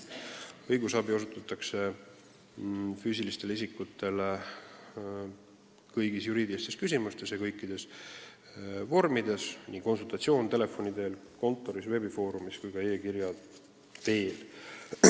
Õigusabi osutatakse füüsilistele isikutele kõigis juriidilistes küsimustes ja kõikides vormides: andes konsultatsiooni kas telefoni teel või kontoris, nii veebifoorumis kui ka e-kirja teel.